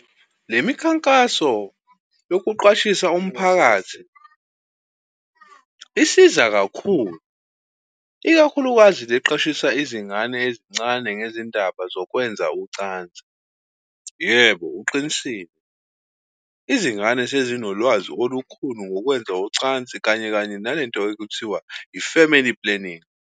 Le mikhankaso yokuqwashisa umphakathi isiza kakhulu, ikakhulukazi le eqwashisa izingane ezincane ngezindaba zokwenza ucansi. Yebo, uqinisile. Izingane sezinolwazi olukhulu ngokwenza ucansi, kanye-kanye nale nto ekuthiwa i-family planning.